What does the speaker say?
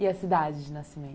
E a cidade de nascimento?